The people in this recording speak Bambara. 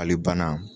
Hali banna